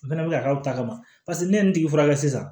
O fɛnɛ bɛ ka k'aw ta kama paseke ne ye nin tigi furakɛ sisan